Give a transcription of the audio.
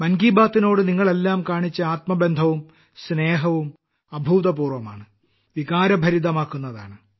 മൻ കി ബാത്ത്നോട് നിങ്ങളെല്ലാം കാണിച്ച ആത്മബന്ധവും സ്നേഹവും അഭൂതപൂർവ്വമാണ് വികാരഭരിതമാക്കുന്നതാണ്